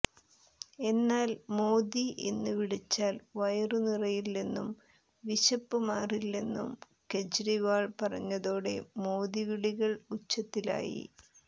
എന്നാൽ മോദി എന്ന് വിളിച്ചാൽ വയറു നിറയില്ലെന്നും വിശപ്പ് മാറില്ലെന്നും കെജ്രിവാൾ പറഞ്ഞതോടെ മോദി വിളികൾ ഉച്ചത്തിലായി